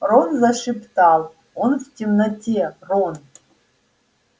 рон зашептал он в темноте рон